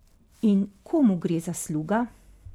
In komu gre zasluga?